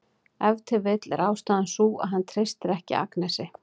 Ef til vill er ástæðan sú að hann treystir ekki Agnesi.